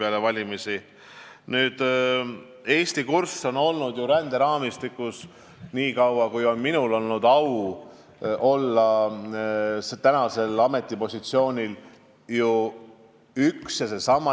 Eesti ränderaamistikuga seotud kurss on nii kaua, kui minul on olnud au olla oma praegusel ametipositsioonil, olnud üks ja seesama.